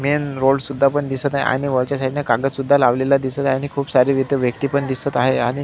main road सुद्धा पण दिसत आहे आणि वरच्या साइड ला तिथ कागद सुद्धा लवलेला दिसत आहे आणि खूप सारे तिथे व्यक्ति पण दिसत आहे आणि--